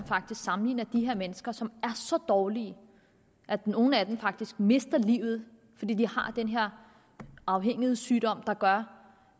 faktisk sammenligner de her mennesker som er så dårlige at nogle af dem rent faktisk mister livet fordi de har den her afhængighedssygdom der gør